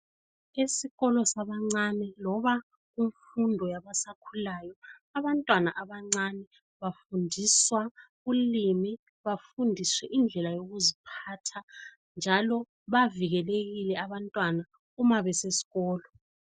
Esikolo sabancane loba imfundo yabasakhulayo. Abantwana abancane bafundiswa ulimi bafundiswe indlela yokuziphatha njalo bavikelekile abantwana uma besesikolo.